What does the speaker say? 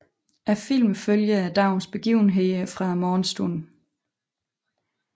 Filmen følger dagens begivenheder fra morgenstunden